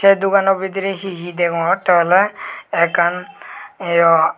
eh dogano bidirey he he degongotte oley ekan iyo.